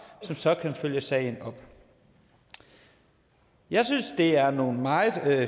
som så kan følge sagen op jeg synes det er nogle meget